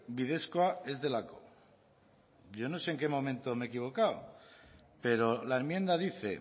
bidezkoa ez delako yo no sé en qué momento me he equivocado pero la enmienda dice